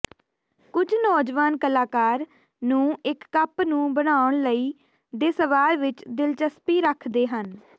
ਕੁਝ ਨੌਜਵਾਨ ਕਲਾਕਾਰ ਨੂੰ ਇੱਕ ਕੱਪ ਨੂੰ ਬਣਾਉਣ ਲਈ ਦੇ ਸਵਾਲ ਵਿੱਚ ਦਿਲਚਸਪੀ ਰੱਖਦੇ ਹਨ